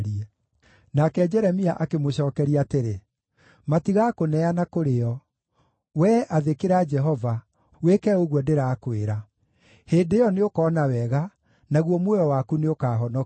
Nake Jeremia akĩmũcookeria atĩrĩ, “Matigaakũneana kũrĩ o. Wee athĩkĩra Jehova, wĩke ũguo ndĩrakwĩra. Hĩndĩ ĩyo nĩũkona wega, naguo muoyo waku nĩũkahonokio.